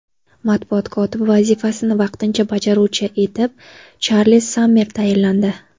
Matbuot kotibi vazifasini vaqtincha bajaruvchi etib Charlz Sammer tayinlandi.